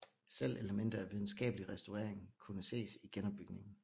Selv elementer af videnskabelig restaurering kunne ses i genopbygningen